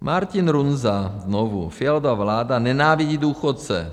Martin Runza znovu: Fialova vláda nenávidí důchodce.